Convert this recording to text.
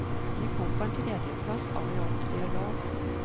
De kom på en tredjeplass av i alt tre lag.